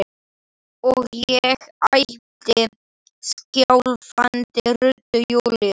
og ég æpi skjálfandi röddu: Júlía!